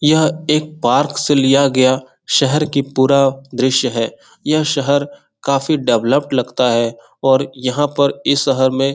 यह एक पार्क से लिया गया शहर की पूरा दृश्य है यह शहर काफ़ी डेवलप लगता है और यहाँ पर इस शहर में --